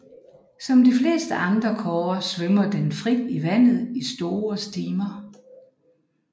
Som de fleste andre kårer svømmer den frit i vandet i store stimer